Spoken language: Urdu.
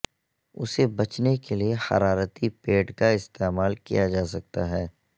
اسے بچنے کے لئے حرارتی پیڈ کا استعمال کیا جا سکتا ہے